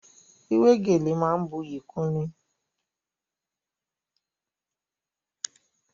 Wíwé gèlè máa ń buyì kúnni.